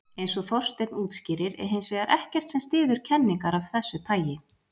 Eins og Þorsteinn útskýrir er hins vegar ekkert sem styður kenningar af þessu tagi.